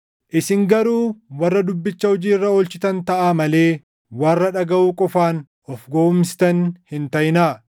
Isin garuu warra dubbicha hojii irra oolchitan taʼaa malee warra dhagaʼuu qofaan of gowwoomsitan hin taʼinaa.